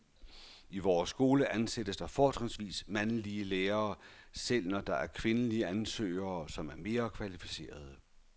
I vores skole ansættes der fortrinsvis mandlige lærere, selv når der er kvindelige ansøgere, som er mere kvalificerede.